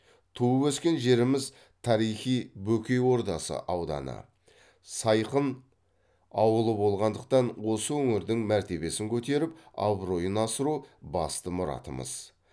туып өскен жеріміз тарихи бөкей ордасы ауданы сайқын ауылы болғандықтан осы өңірдің мәртебесін көтеріп абыройын асыру басты мұратымыз